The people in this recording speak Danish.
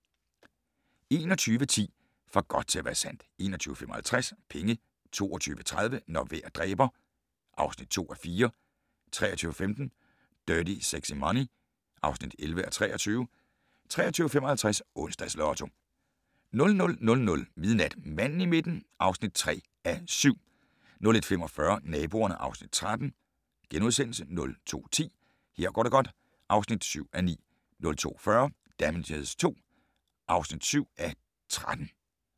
21:10: For godt til at være sandt 21:55: Penge 22:30: Når vejr dræber (2:4) 23:15: Dirty Sexy Money (11:23) 23:55: Onsdags Lotto 00:00: Manden i midten (3:7) 01:45: Naboerne (Afs. 13)* 02:10: Her går det godt (7:9) 02:40: Damages II (7:13)